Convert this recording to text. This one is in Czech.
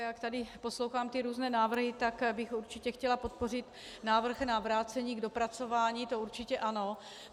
Jak tady poslouchám ty různé návrhy, tak bych určitě chtěla podpořit návrh na vrácení k dopracování, to určitě ano.